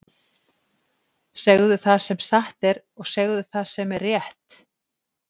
Segðu það sem satt er, og segðu það sem er rétt!